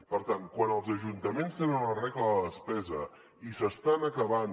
per tant quan els ajuntaments tenen una regla de despesa i s’estan acabant